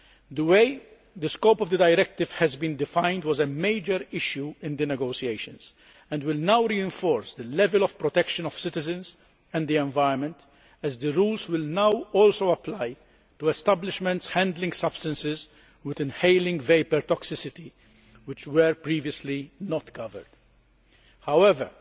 The way the scope of the Directive has been defined was a major issue in the negotiations, and will now reinforce the level of protection of citizens and the environment as the rules will now also apply to establishments handling substances with inhalation vapour toxicity, which were previously not covered. However,